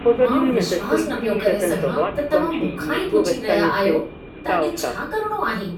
मां विश्वास न पियो करे सघां त तव्हां मूंखां ही पुछी रहिया आहियो त अॼु छा करिणो आहे।